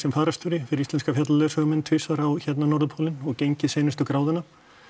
fararstjóri fyrir Íslenska fjallaleiðsögumenn tvisvar á hérna norðurpólinn og gengið seinustu gráðuna